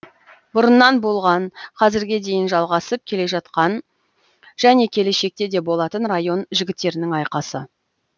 бұрыннан болған қазірге дейін жалғасып келе жатқан және келешекте де болатын район жігіттерінің айқасы